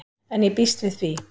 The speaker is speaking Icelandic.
En ég býst við því.